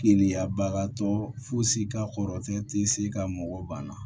Keliya bagatɔ fosi ka kɔrɔtɔ ti se ka mɔgɔ banna